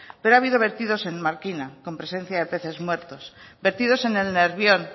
pero ha habido vertidos en markina con presencia de peces muertos vertidos en el nervión